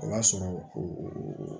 O b'a sɔrɔ